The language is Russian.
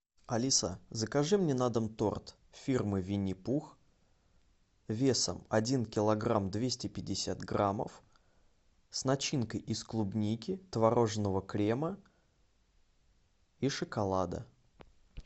алиса закажи мне на дом торт фирмы винни пух весом один килограмм двести пятьдесят граммов с начинкой из клубники творожного крема и шоколада